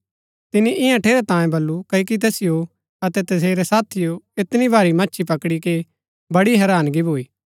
तिनी इन्या ठेरै तांयें बल्लू क्ओकि तैसिओ अतै तसेरै साथिओ ऐतनी भारी मच्छी पकडी के बड़ी हैरानगी भूई